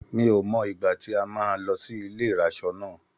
Mi ò mọ ìgbà tí a máa lọ sí ilé ìraṣọ náà.